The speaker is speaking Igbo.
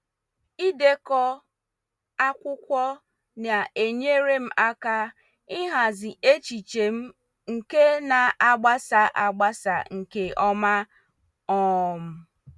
Ịdeko akwụkwọ na-enyere m aka ịhazi echiche m nke na-agbasa agbasa nke ọma. um